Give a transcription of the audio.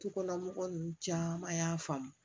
Dukɔnɔmɔgɔw ninnu caman y'a faamu